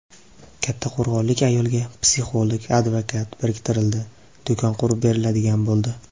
Kattaqo‘rg‘onlik ayolga psixolog, advokat biriktirildi , do‘kon qurib beriladigan bo‘ldi.